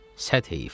Çox heyf.